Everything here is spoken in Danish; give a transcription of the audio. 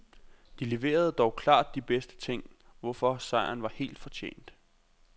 De leverede dog klart de bedste ting, hvorfor sejren var helt forjent.